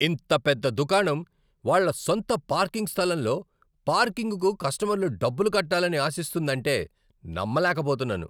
ఇంత పెద్ద దుకాణం వాళ్ళ సొంత పార్కింగ్ స్థలంలో పార్కింగ్కు కస్టమర్లు డబ్బులు కట్టాలని ఆశిస్తుందంటే నమ్మలేకపోతున్నాను!